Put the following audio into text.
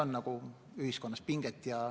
Aitäh!